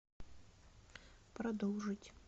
продолжить